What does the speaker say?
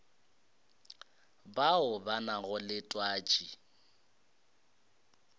bao ba nago le twatši